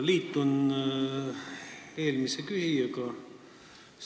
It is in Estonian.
Liitun eelmise küsijaga.